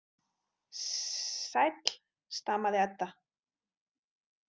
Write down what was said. Sss sæll, stamaði Edda.